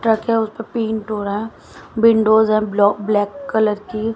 truck हैं उसपे paint हो रहा विंडोज है ब्लॉक ब्लैक कलर की--